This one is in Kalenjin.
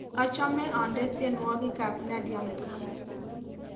achome ane tienwogik ab nadia mukami